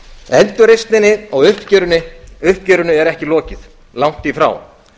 endurreisninni og uppgjörinu er ekki lokið langt í frá